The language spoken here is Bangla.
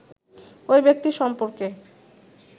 ওই ব্যক্তি সম্পর্কে